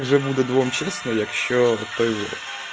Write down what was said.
уже будут вам честно я к черту